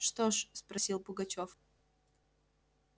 что ж спросил пугачёв